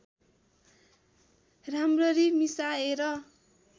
राम्ररी मिसाएर